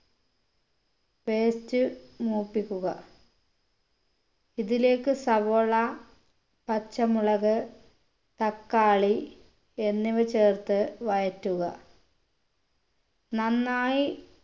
paste മൂപ്പിക്കുക ഇതിലേക്ക് സവോള പച്ചമുളക്ക് തക്കാളി എന്നിവ ചേർത്ത് വഴറ്റുക നന്നായി